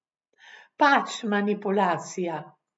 Pač, manipulacija.